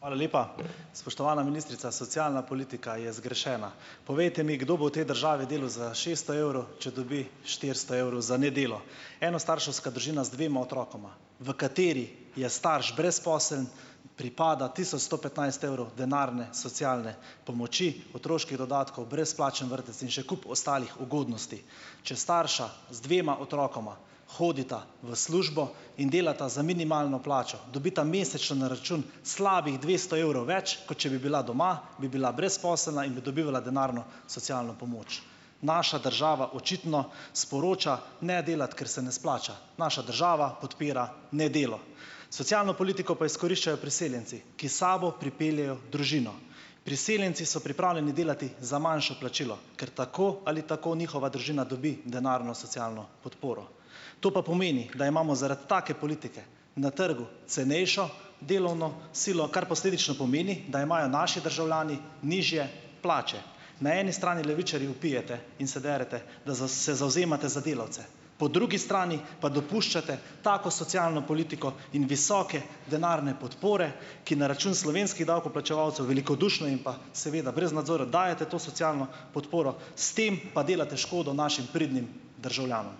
Hvala lepa. Spoštovana ministrica, socialna politika je zgrešena. Povejte mi, kdo bo v tej državi delu za šeststo evrov, če dobi štiristo evrov za nedeljo. Enostarševska družina z dvema otrokoma, v kateri je starš brezposeln, pripada tisoč sto petnajst evrov denarne socialne pomoči, otroških dodatkov, brezplačen vrtec in še kup ostalih ugodnosti. Če starša z dvema otrokoma hodita v službo in delata za minimalno plačo, dobita mesečno na račun slabih dvesto evrov več, kot če bi bila doma, bi bila brezposelna in bi dobivala denarno socialno pomoč. Naša država očitno sporoča: "Ne delati, ker se ne splača." Naša država podpira nedelo. Socialno politiko pa izkoriščajo priseljenci, ki s sabo pripeljejo družino. Priseljenci so pripravljeni delati za manjše plačilo, ker tako ali tako njihova družina dobi denarno socialno podporo. To pa pomeni, da imamo zaradi take politike na trgu cenejšo delovno silo, kar posledično pomeni, da imajo naši državljani nižje plače. Na eni strani levičarji vpijete in se derete, da se zavzemate za delavce, po drugi strani pa dopuščate tako socialno politiko in visoke denarne podpore, ki na račun slovenskih davkoplačevalcev velikodušno in pa seveda brez nadzora dajete to socialno podporo. S tem pa delate škodo našim pridnim državljanom.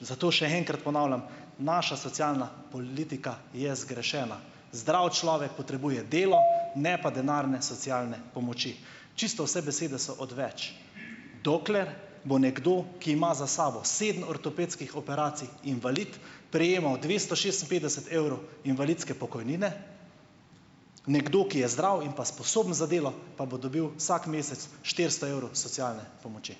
Zato še enkrat ponavljam, naša socialna politika je zgrešena. Zdrav človek potrebuje delo, ne pa denarne socialne pomoči. Čisto vse besede so odveč, dokler bo nekdo, ki ima za sabo sedem ortopedskih operacij, invalid, prejemal dvesto šestinpetdeset evrov invalidske pokojnine, nekdo, ki je zdrav in pa sposoben za delo, pa bo dobil vsak mesec štiristo evrov socialne pomoči.